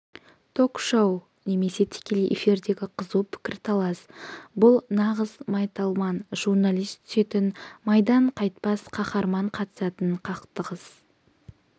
ток-шоу немесе тікелей эфирдегі қызу пікірталас бұл нағыз майталман журналист түсетін майдан қайтпас қаһарман қатысатын қақтығыс